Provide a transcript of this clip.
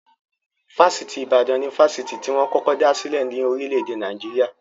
Fáṣítì Ìbàdàn ni Fásitì tí wọn kọ́kọ́ dá sílè ní orílè-èdè Naijiria.